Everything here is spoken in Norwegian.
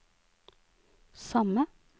samme